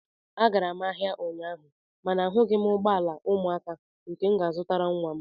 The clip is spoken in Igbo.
Agara m ahịa ụnyaahụ mana ahụghị m ụgbọ ala ụmụaka nke m ga-azụrụ nwa m